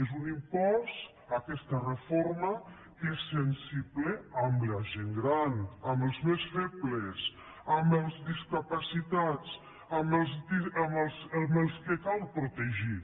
és un impost aquesta reforma que és sensible amb la gent gran amb els més febles amb els discapacitats amb els que cal protegir